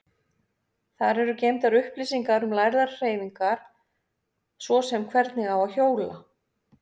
Þar eru geymdar upplýsingar um lærðar hreyfingar, svo sem hvernig á að hjóla.